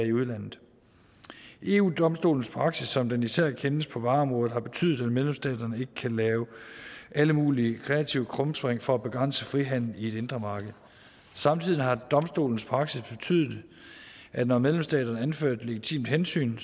i udlandet eu domstolens praksis som den især kendes på vareområdet har betydet at medlemsstaterne ikke kan lave alle mulige kreative krumspring for at begrænse frihandel i det indre marked samtidig har domstolens praksis betydet at når medlemsstaterne anfører et legitimt hensyn